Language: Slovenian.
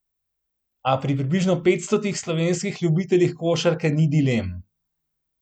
A pri približno petstotih slovenskih ljubiteljih košarke ni dilem.